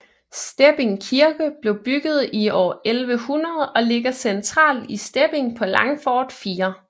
Stepping Kirke blev bygget i år 1100 og ligger centralt i Stepping på Langfort 4